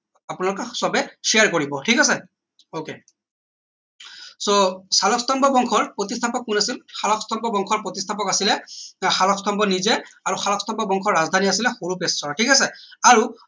আপোনালোকে সবেই share কৰিব ঠিক আছে ok so শালস্তম্ভ বংশৰ প্ৰতিস্থাপক কোন আছিল শালস্তম্ভ বংশৰ প্ৰতিস্থাপক আছিলে শালস্তম্ভ নিজেই আৰু শালস্তম্ভ বংশৰ ৰাজধানীৰ আছিলে হৰূপেশ্বৰ ঠিক আছে আৰু